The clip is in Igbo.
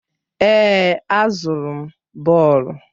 Èè, azụrụ m bọọlụ.